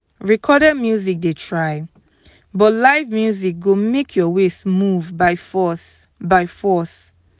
recorded music dey try but live music go make your waist move by force. by force.